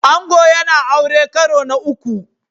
Ango yana aure karo na uku